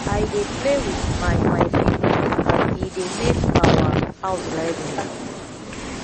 i dey play wit my my siblings and e dey make our house lively